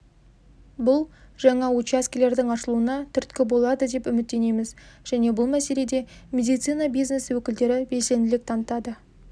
бұл жаңа учаскелердің ашылуына түрткі болады деп үміттенеміз және бұл мәселеде медицина бизнесі өкілдері белсенділік танытады